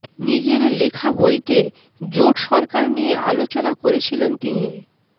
নিজের লেখা বইতে জোট সরকার নিয়ে আলোচনা করেছিলেন তিনি